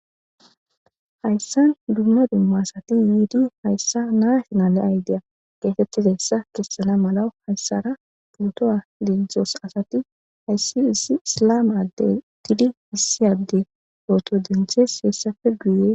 hayssan dumma dumma asati yiidi hayssa naafinale aydeya geetettidassa kessana mala hayssara puto7a lenthos asati hayssi issi isilama addey tidi issi adde ooto denthes heessafe guyee